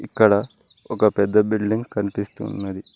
ఇక్కడ ఒక పెద్ద బిల్డింగ్ కనిపిస్తున్నది.